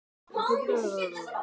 Hætt í Grýlunum?